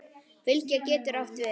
Fylgja getur átt við